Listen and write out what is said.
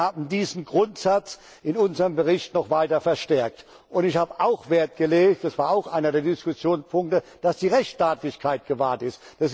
Wir haben diesen Grundsatz in unserem Bericht noch weiter verstärkt. Ich habe auch darauf Wert gelegt das war auch einer der Diskussionspunkte dass die Rechtsstaatlichkeit gewahrt ist.